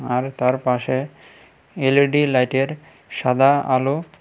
আর তারপাশে এল_ই_ডি লাইটের সাদা আলো।